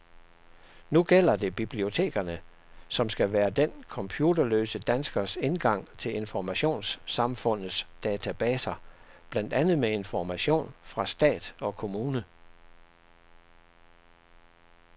Nu gælder det bibliotekerne, som skal være den computerløse danskers indgang til informationssamfundets databaser, blandt andet med information fra stat og kommune.